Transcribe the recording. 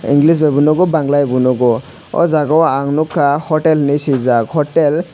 english bai bo nukgo bangla bai bo nukgo o jaga o nukha hotel hinui swijak hotel.